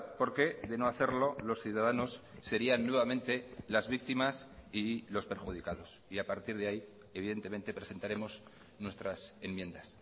porque de no hacerlo los ciudadanos serían nuevamente las víctimas y los perjudicados y a partir de ahí evidentemente presentaremos nuestras enmiendas